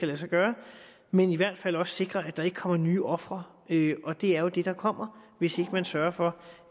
lade sig gøre men i hvert fald også sikre at der ikke kommer nye ofre og det jo det der kommer hvis ikke man sørger for